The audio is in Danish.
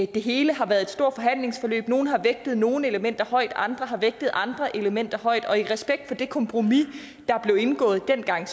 det hele har været et stort forhandlingsforløb nogle har vægtet nogle elementer højt andre har vægtet andre elementer højt og i respekt for det kompromis der blev indgået dengang